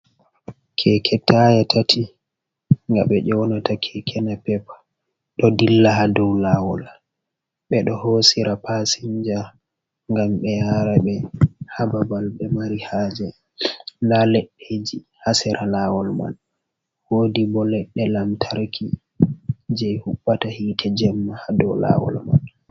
Keke taye tati nga ɓe yonota kekenape, ɗo dilla ha dow lawol, ɓeɗo hosira pasinja ngam ɓe yara ɓe ha babal ɓe mari haje, nda leɗɗeji ha sera lawol man, wodi bo ledɗe lamtarki je huɓata hitte jemma dow lawol man.